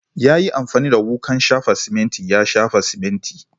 Ya yi amfani da wukan shafa siminti ya shafa siminti.